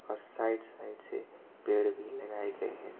और side side से पेड़ भी लगाए गए हैं।